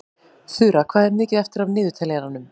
Þura, hvað er mikið eftir af niðurteljaranum?